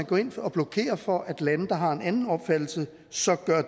gå ind og blokere for at lande der har en anden opfattelse så gør